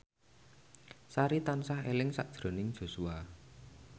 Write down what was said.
Sari tansah eling sakjroning Joshua